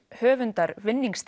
höfundar